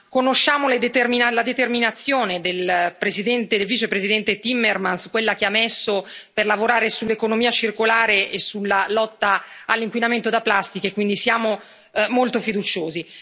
Conosciamo la determinazione del Vicepresidente Timmermans, quella che ha messo per lavorare sull'economia circolare e sulla lotta all'inquinamento da plastica, e quindi siamo molto fiduciosi.